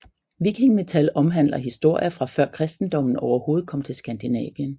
Viking metal omhandler historier fra før kristendommen overhovedet kom til Skandinavien